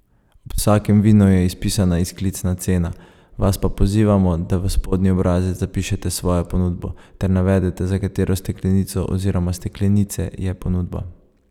Ob vsakem vinu je izpisana izklicna cena, vas pa pozivamo, da v spodnji obrazec zapišete svojo ponudbo ter navedete, za katero steklenico oziroma steklenice je ponudba.